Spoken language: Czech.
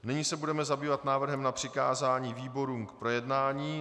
Nyní se budeme zabývat návrhem na přikázání výborům k projednání.